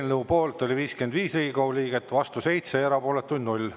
Eelnõu poolt oli 55 Riigikogu liiget, vastu 7 ja erapooletuid 0.